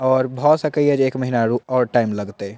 और बहुत सा का एज एक महीना और टाइम लगतई।